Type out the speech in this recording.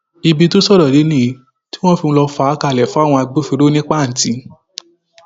ibi tó sọrọ dé nìyí tí wọn fi lọọ fà á kalẹ fáwọn agbófinró ní pàǹtì